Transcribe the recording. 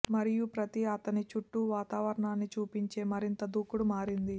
మరియు ప్రతి అతని చుట్టూ వాతావరణాన్ని చూపించే మరింత దూకుడు మారింది